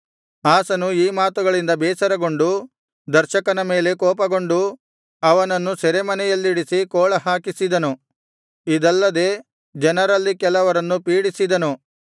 ಆಸನು ಈ ಮಾತುಗಳಿಂದ ಬೇಸರಗೊಂಡು ದರ್ಶಕನ ಮೇಲೆ ಕೋಪಗೊಂಡು ಅವನನ್ನು ಸೆರೆಮನೆಯಲ್ಲಿಡಿಸಿ ಕೋಳ ಹಾಕಿಸಿದನು ಇದಲ್ಲದೆ ಜನರಲ್ಲಿ ಕೆಲವರನ್ನು ಪೀಡಿಸಿದನು